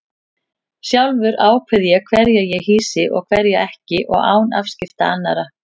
Sjálfur ákveð ég hverja ég hýsi og hverja ekki og án afskipta annarra.